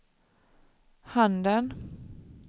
handen